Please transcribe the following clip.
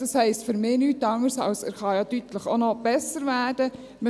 Das heisst für mich nichts anderes, als dass er ja noch deutlich besser werden kann.